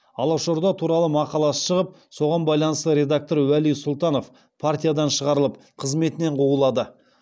алашорда туралы мақаласы шығып соған байланысты редактор уәли сұлтанов партиядан шығарылып қызметінен қуылады